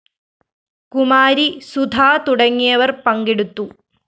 കുമാരി സുധ തുടങ്ങിയവര്‍ പങ്കെടുത്തു